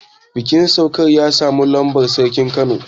bikin saukar ya samu halartar sarkin kano